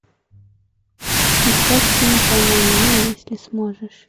искать фильм поймай меня если сможешь